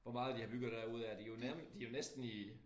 Hvor meget de har bygget derude af de jo nær de jo næsten i